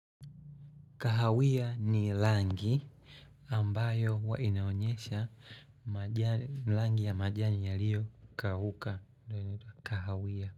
Kahawiya ni rangi ambayo huwa inaonyesha rangi ya majani yaliyo kauka ndio inaitwa Kahawiya.